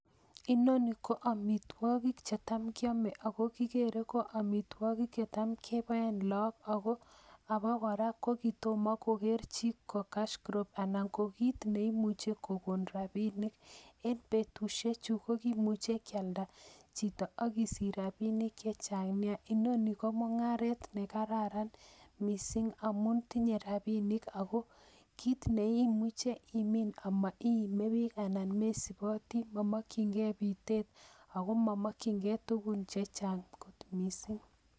Inoni KO amitwogik chetam kiome ako kogere KO amitogiik chetam keboen logbook, ak abakora ko kitomo kogeer chi ko cash crop anan kit neimuche kokon rabinik. En betusiechu kimuche koalda chito ak isich rabinik chechang Nia. Inoni ko mungaret nekararan ako kit neimuche imin kityok ak maime book ak mokisibotee ak momonkyingei bitet ako momokyingei tuguun chechang missing.